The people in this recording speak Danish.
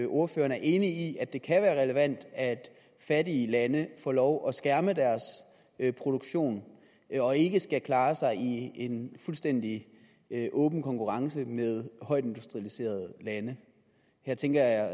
ordføreren er enig i at det kan være relevant at fattige lande får lov at skærme deres produktion og ikke skal klare sig i en fuldstændig åben konkurrence med højt industrialiserede lande her tænker jeg